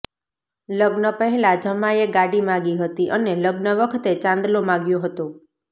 લગ્ન પહેલાં જમાઈએ ગાડી માગી હતી અને લગ્ન વખતે ચાંદલો માગ્યો હતો